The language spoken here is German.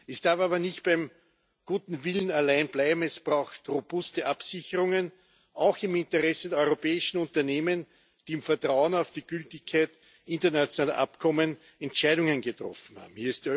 Es darf aber nicht beim guten Willen allein bleiben, es braucht robuste Absicherungen auch im Interesse der europäischen Unternehmen, die im Vertrauen auf die Gültigkeit internationaler Abkommen Entscheidungen getroffen haben.